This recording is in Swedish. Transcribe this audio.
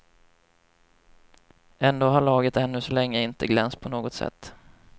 Ändå har laget ännu så länge inte glänst på något sätt.